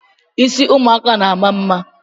Ịsị ụmụaka na-ama mma